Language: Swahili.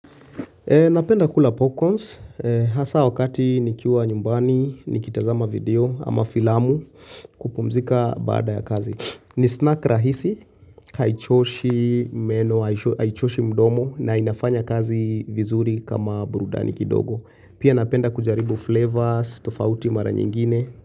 Napenda kula popcorns. Hasa wakati nikiwa nyumbani, nikitazama video ama filamu kupumzika baada ya kazi. Ni snack rahisi. Haichoshi meno haichoshi mdomo na inafanya kazi vizuri kama burudani kidogo. Pia napenda kujaribu flavors, tofauti mara nyingine.